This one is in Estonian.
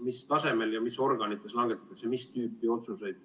mis tasemel ja mis organites langetatakse mis tüüpi otsuseid.